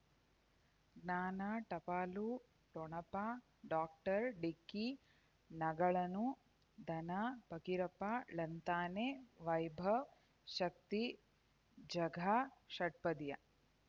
ಜ್ಞಾನ ಟಪಾಲು ಠೊಣಪ ಡಾಕ್ಟರ್ ಢಿಕ್ಕಿ ಣಗಳನು ಧನ ಫಕೀರಪ್ಪ ಳಂತಾನೆ ವೈಭವ್ ಶಕ್ತಿ ಝಗಾ ಷಟ್ಪದಿಯ